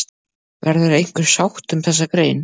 Verður einhver sátt um þessa grein?